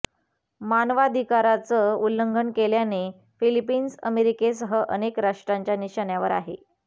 मानवाधिकाराचं उल्लंघन केल्याने फिलिफिन्स अमेरिकेसह अनेक राष्ट्रांच्या निशाण्यावर आहे